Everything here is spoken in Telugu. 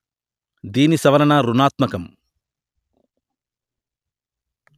దీని సవరణ ఋణాత్మకం